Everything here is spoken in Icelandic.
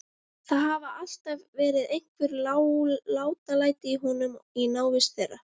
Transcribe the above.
Það hafa alltaf verið einhver látalæti í honum í návist þeirra.